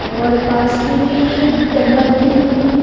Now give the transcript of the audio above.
और पास में ही डंबल भी दिख रहें है।